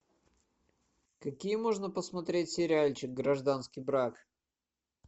какие можно посмотреть сериальчик гражданский брак